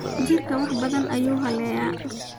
Jiirka wax badaan ayu xaleya.